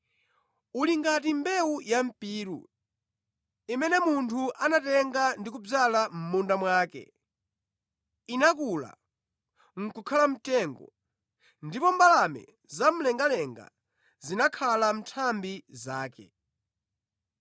Uli ngati mbewu ya mpiru, imene munthu anatenga ndi kudzala mʼmunda mwake. Inakula, nʼkukhala mtengo, ndipo mbalame zamlengalenga zinakhala mʼnthambi zake.”